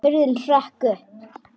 Hurðin hrökk upp!